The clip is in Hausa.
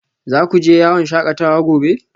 Za ku je yawon shakatawa gobe?